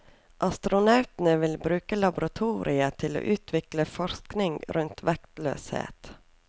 Astronautene vil bruke laboratoriet til å utvikle forskningen rundt vektløshet.